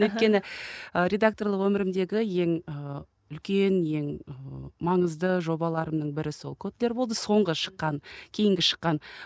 өйткен і редакторлық өмірімдегі ең ыыы үлкен ең ы маңызды жобаларымның бірі сол котлер болды соңғы шыққан кейінгі шыққан